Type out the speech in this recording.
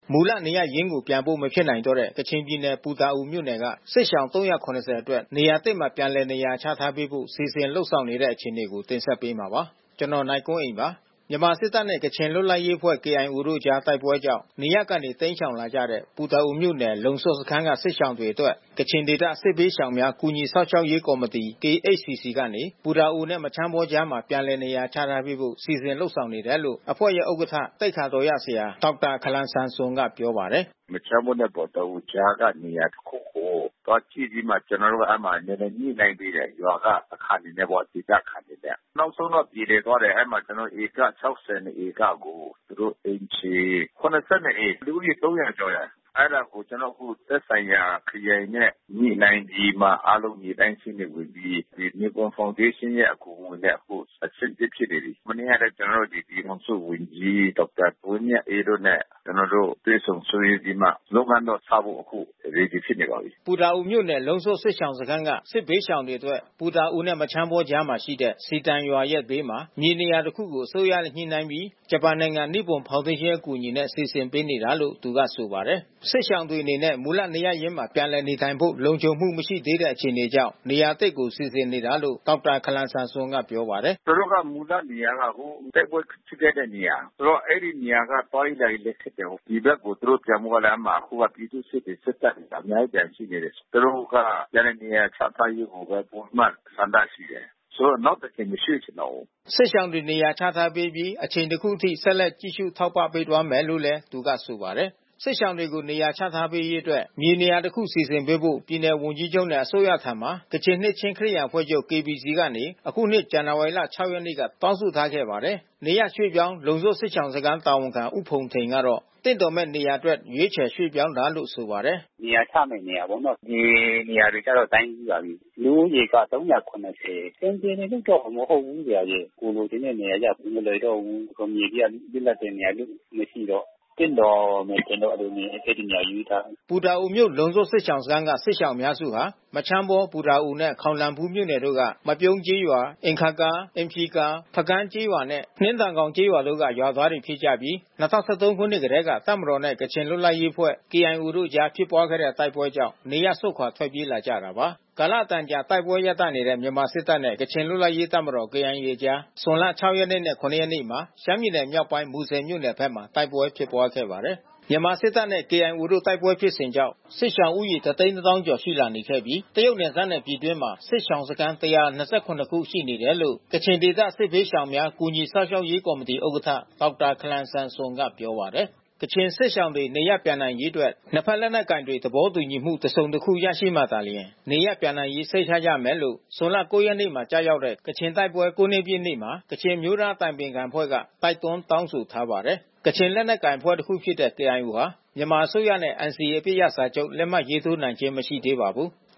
မူလနေရပ်ရင်းကို ပြန်ဖို့မဖြစ်နိုင်တော့တဲ့ ကချင်ပြည်နယ်ပူတာအိုမြို့နယ်က စစ်ရှောင် ၃၇၀အတွက် နေရာသစ်မှာ ပြန်လည်နေရာချထားပေးဖို့ စီစဉ်လုပ်ဆောင်နေတဲ့အခြေအနေကို နိုင်ကွန်းအိန် တင်ဆက်ပေးမှာပါ။ မြန်မာစစ်တပ်နဲ့ ကချင်လွတ်လပ်ရေးအဖွဲ့KIOတို့အကြားတိုက်ပွဲကြောင့် နေရပ်ကနေတိမ်းရှောင်လာကြတဲ့ ပူတာ အိုမြို့နယ် လုံစွတ်စခန်းကစစ်ရှောင်တွေအတွက် ကချင်ဒေသ စစ်ဘေးရှောင်များကူညီစောင့်ရှောက်ရေး ကော်မတီ (KHCC)ကနေ ပူတာအို နဲ့မချမ်းဘောကြားမှာ ပြန်လည်နေရာချထားပေးဖို့ စီစဉ်လုပ်ဆောင်နေတယ်လို့ အဖွဲ့ ဥက္ကဋ္ဌ သိက္ခာတော်ရဆရာ ဒေါက်တာ ခါလမ်ဆမ်ဆွန်ကပြောပါတယ်။ “မချမ်းဘောနဲ့ ပူတာအိုကြားကနေရာတခုကို သွားကြည့်ပြီးမှ ကျွန်တော်တို့က အဲဒီမှာနည်းနည်း ညှိနှိုင်းပေးတယ်။ ရွာကအခံတွေနဲ့ပေါ့။ ဒေသခံတွေနဲ့။ နောက်ဆုံးတော့ပြေလည်သွားတယ်အဲဒီမှာ ကျွန်တော်တို့ ဧက(၆၂)ဧကကို သူတို့အိမ်ခြေ(၇၂)အိမ် လူဦးရေ(၃၀၀)ကျော်တယ်။ အဲတာကိုကျွန်တော်တို့ သက်ဆိုင်ရာ ခရိုင်နဲ့ညှိနှိုင်းပြီးမှ အားလုံးမြေတိုင်းစာရင်းတွေဝင်ပြီး ဒီနိပွန်းဖေါင်ဒေးရှင်းရဲ့ အကူညီနဲ့အခု အဆင်သင့်ဖြစ်နေပြီး။ မနေ့ကလဲ ကျွန်တော် တို့ ပြည်ထောင်စုဝန်ကြီး ဒေါက်တာဝင်းမြတ်အေးတို့နဲ့ ကျွန်တော်တို့တွေ့ဆုံဆွေးနွေးပြီးမှ လုပ်ငန်းတော့စဖို့ အခု Ready ဖြစ်နေပါပြီ။” ပူတာအိုမြို့နယ် လုံးစွတ်စစ်ရှောင်စခန်းက စစ်ဘေးရှောင်တွေအတွက် ပူတာအိုနဲ့ မချမ်းဘောကြားမှာရှိတဲ့ ဇီတန်ရွာရဲ့ ဘေးမှာ မြေနေရာတစ်ခုကို အစိုးရနှဲ့ညှိနှိုင်းပြီး ဂျပန်နိုင်ငံ နိပွန်ဖေါင်ဒေးရှင်းအကူအညီနဲ့ စီစဉ်ပေးနေတာလို့ သူကဆိုပါတယ်။ စစ်ရှောင်တွေအနေနဲ့ မူလနေရပ်ရင်းမှာပြန်လည်နေထိုင်ဖို့လုံခြုံမှုမရှိသေးတဲ့အခြေအနေကြောင့် နေရာသစ်ကို စီစဉ် နေတာလို့ ဒေါက်တာ ခါလမ်ဆမ်ဆွန်ကပြောပါတယ်။ “သူတို့ရဲ့မူလနေရာက တိုက်ပွဲဖြစ်ခဲ့တဲ့နေရာ။ ဆိုတော့ အဲဒီနေရာက သွားရေးလာရေးလဲခက်တယ်။ ဒီဘက်ကို သူတို့ ပြန်ဖို့ကလဲ အဲဒီမှာ ပြည်သူ့စစ်တွေစစ်တပ်တွေကအများကြီးကျန်ရှိသေးတယ်။ သူတို့က ပြန်လည်နေရာချထား ရေးကိုဘဲ ပိုပြီးမှဆန္ဒရှိတယ်။ ဆိုတော့ နောက်တကြိမ် ရွှေ့ချင်တော့ဘူး။” စစ်ရှောင်တွေနေရာချထားပေးအပြီး အချိန်တခုအထိ ဆက်လက်ကြည့်ရှု ထောက်ပံ့သွားမယ်လို့သူကဆိုပါတယ်။ စစ်ရှောင်တွေကိုနေရာချထားပေးရေးအတွက် မြေနေရာတစ်ခုစီစဉ်ပေးဖို့ ပြည်နယ်ဝန်ကြီးချုပ်နဲ့ အစိုးရထံမှာ ကချင် နှစ်ခြင်းခရစ်ယာန်အဖွဲ့ချုပ်(KBC)ကနေယခုနှစ် ဖေဖော်ဝါရီလ (၆) ရက်နေ့က တောင်းဆိုထားခဲ့ပါတယ်။ နေရပ်ရွှေ့ပြောင်း လုံးစွတ်စစ်ရှောင်စခန်း တာဝန်ခံဦးဖုန်ထိန်ကတော့ သင့်တော်မယ့် နေရာအတွက် ရွေးချယ်ပြောင်းရွှေ့ တာလို့ဆိုပါတယ်။ “နေရာချမယ့် နေရာကတော့ မြေနေရာတော့တိုင်းပြီးပါပြီး။ လူဦးရေက(၃၇၀)။ အဆင်ပြေတယ်လို့တော့ မဟုတ်ဘူး။ ကိုယ် လိုချင်တဲ့နေရာရဖို့မလွယ်တော့ဘူး။ မြေတွေက လွတ်လပ်တဲ့ နေရာလဲမရှိတော့။ သင့်တော်မယ်ထင်တဲ့ မြေနေရာ ရွေးထားတယ်။” ပူတာအိုမြို့၊ လုံစွတ်စစ်ရှောင်စခန်းက စစ်ဘေးရှောင်အများစုဟာ မချမ်းဘော၊ ပူတာအိုနဲ့ ခေါင်လန်ဖူးမြို့နယ်တို့ က မပြုံးကျေးရွာ၊ အင်ခါးဂါကျေးရွာ၊ အင်ဖျီဂါကျေးရွာ၊ ဖကန်းကျေးရွာနဲ့ နှင်းတန်ဂေါင်ကျေးရွာတို့က ရွာသားတွေဖြစ်ကြပြီး ၂၀၁၃ ခုနှစ်ကတည်းက တပ်မတော်နှင့် ကချင်လွတ်လပ်ရေးအဖွဲ့ (KIO) တို့အကြား ဖြစ်ပွားခဲ့တဲ့ တိုက်ပွဲကြောင့် နေရပ်စွန့် ထွက်ပြေးလာကြတာပါ။ ကာလအတန်ကြာ တိုက်ပွဲရပ်တန့်နေတဲ့ မြန်မာစစ်တပ်နဲ့ ကချင်လွတ်လပ်ရေး တပ်မတော် KIAအကြား ဇွန်လ(၆) ရက်နဲ့(၇)ရက်နေ့က ရှမ်းပြည်နယ်မြောက်ပိုင်း မူဆယ်မြို့နယ်ဘက်မှာ တိုက်ပွဲဖြစ်ပွါးခဲ့ပါတယ်။ မြန်မာစစ်တပ်နဲ့KIOတို့တိုက်ပွဲဖြစ်စဉ်ကြောင့် စစ်ရှောင်ဦးရေ တသိန်းတသောင်းကျော် ရှိလာနေခဲ့ပြီး တရုတ်နယ်စပ်နဲ့ ပြည်တွင်းမှာ စစ်ရှောင်စခန်း(၁၂၇)ခုရှိနေတယ်လို့ ကချင်ဒေသ စစ်ဘေးရှောင်များ ကူညီစောင့်ရှောက်ရေး ကော်မတီ ဥက္ကဋ္ဌ ဒေါက်တာ ခါလမ်ဆမ်ဆွန်ကပြောပါတယ်။ ကချင်စစ်ရှောင်တွေနေရပ်ပြန်နိုင်ရေးအတွက် နှစ်ဖက်လက်နက်ကိုင်တွေ သဘောတူညီမှု တစ်စုံတစ်ခု ရရှိမှသာလျှင် နေရပ်ပြန်ရေး စိတ်ချရမယ်လို့ ဇွန်လ(၉)မှာကျရောက်တဲ့ ကချင်တိုက်ပွဲ(၉)နှစ်ပြည့်နေ့ မှာ ကချင်အမျိုးသား အတိုင်ပင် ခံအဖွဲ့က တိုက်တွန်း တောင်းဆိုထားပါတယ်။ ကချင်လက်နက်ကိုင်အဖွဲ့တခုဖြစ်တဲ့ KIOဟာ မြန်မာအစိုးရနဲ့NCAအပစ်ရပ်စာချုပ် လက်မှတ်ရေးထိုးနိုင်ခြင်းမရှိသေး ပါဘူး။